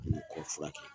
Olu kɔfɛrɛ